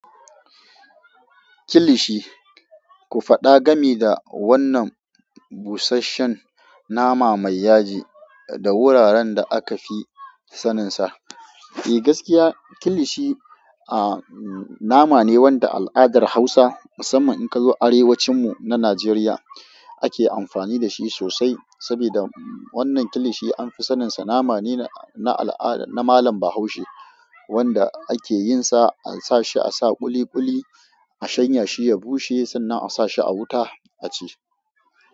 Kilishi, ku faɗa game da wannan busasshen nama mai yaji da wuraren da aka fi saninsa. E gaskiya Kilishi, a nama ne wanda al'adar Hausa musaman in ka zo Arewacin mu na Najeriya ake amfani da shi sosai. Sabida wannan Kilishi an fi sanin sa nama ne na al'ada na malam Bahaushe wanda ake yin sa an sa shi a sa ƙuliƙuli, a shanya shi ya bushe sannan a sa shi a wuta a ci.